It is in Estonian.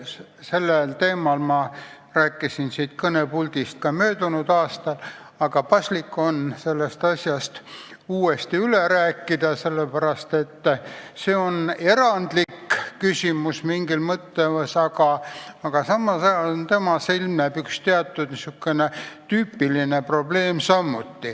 Sellel teemal ma rääkisin siit kõnepuldist ka möödunud aastal, aga paslik on see uuesti üle rääkida, sellepärast et see on mingis mõttes erandlik küsimus, samas ilmneb sellega seoses üks tüüpiline probleem.